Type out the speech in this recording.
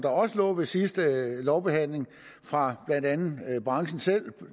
lå ved sidste lovbehandling fra blandt andet branchen selv